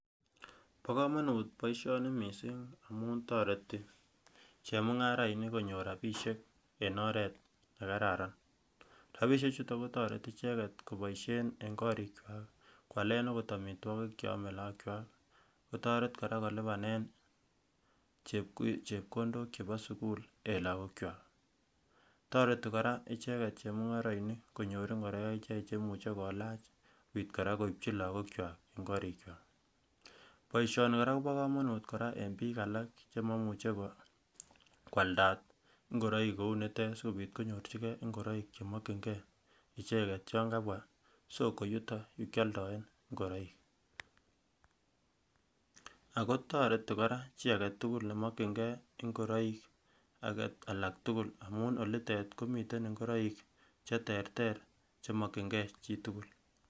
Bo komonut boisioni mising amun toreti chemung'arainik konyor rapisiek en oret nekararan, rapisiechuto kotoreti icheket koboisien en korikwak kwalen akot amitwokik cheome lookwak, kotoret kora kolipanen chepkondok chepo sukul en lakokwak, toreti kora icheket chemung'arainik konyor ingoroik cheimuche kolach sipit kora koipchi lakokwa en korikwak, boisioni kora kopo komonut en biik alak chemomuch kwalda ngoroik kounitet sikopit konyorchike ngoroik chemokyingee icheket yon kabwa soko yuton yukyoldoen ingoroik ako toreti kora chi aketugul nemokyingee ngoroik alak tugul amun olitet komii ngoroik cheterter chemokyingee chitugul.